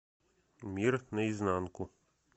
мир на изнанку